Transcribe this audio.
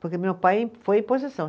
Porque meu pai foi em posição.